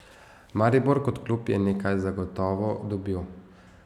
Maribor kot klub je nekaj zagotovo dobil.